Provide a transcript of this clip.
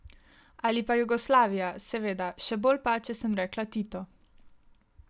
Ali pa Jugoslavija, seveda, še bolj pa, če sem rekla Tito.